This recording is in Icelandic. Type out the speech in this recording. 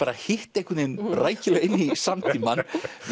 hitt einhvern veginn rækilega inn í samtímann